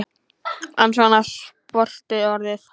En svona er sportið orðið.